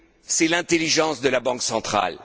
c'est l'intelligence de la Banque centrale.